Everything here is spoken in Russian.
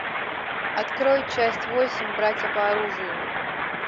открой часть восемь братья по оружию